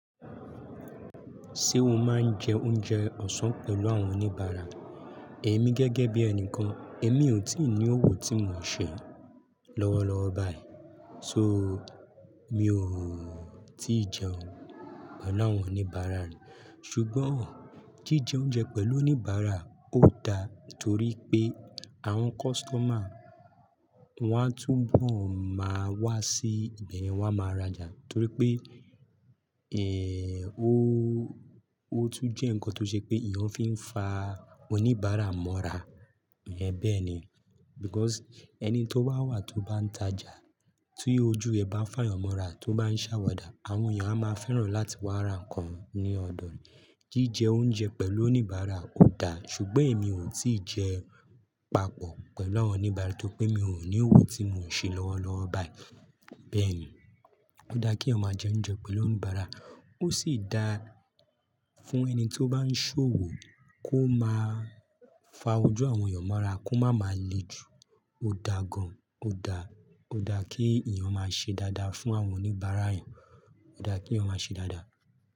Ṣé o máa ń jẹ oúnjẹ ọ̀sán pẹ̀lú àwọn oníbàárà? Èmi gẹ́gẹ́ bí ẹnìkan, èmi ò tí ì ní òwò tí mò ń ṣe lọ́wọ́lọ́wọ́ báyìí. So mi ò tí ì jẹun pẹ̀lú àwọn oníbàárà rí. Ṣùgbọ́n jíjẹ oúnjẹ pẹ̀lú oníbàárà ò da torí pé àwọn kọ́sítọ́mà wọ́n á túbọ̀ máa wá sí ibẹ̀, wọ́n á máa rajà torí pé, ẹ́, ó, ó tún jẹ́ nǹkan tó ṣe pé èèyàn fi ń fa oníbàárà mọ́ra. Bẹ́ẹ̀ ni. Because ẹni tó bá wà tó bá ń tajà, tí ojú ẹ bá ń fàyàn mọ́ra, tó bá ń ṣàwàdà, àwọn èèyàn á máa fẹ́ràn láti wá ra nǹkan ní ọ̀dọ̀ rẹ̀. Jíjẹ oúnjẹ pẹ̀lú oníbàárà ò da, ṣùgbọ́n èmi ò tí ì jẹ papọ̀ pẹ̀lú àwọn oníbàárà torí pé mi ò ní òwò tí mò ń ṣe lọ́wọ́lọ́wọ́ báyìí. Bẹ́ẹ̀ ni. Ó da kí èèyàn máa jẹ oúnjẹ pẹ̀lú oníbàárà. Ó sì da fún ẹni tí ó bá ń ṣòwò kó máa fa ojú àwọn èèyàn mọ́ra, kó máa ma le jù. Ó da gan. Ó da, ó da kí èèyàn máa ṣe dáadáa fún àwọn oníbàárà rẹ̀. Ó da kí èèyàn máa ṣe dáadáa.